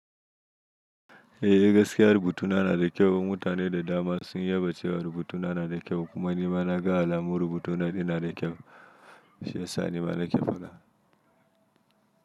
Eh gaskiya rubutuna na da kyau. Mutane da dama sun yaba cewa rubutuna na da kyau kuma ni ma na ga alamun rubutuna na da kyau. Shiyasa ni ma na kefada.